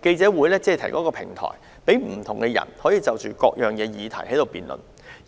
該會只提供一個平台，讓不同人士就各項議題辯論，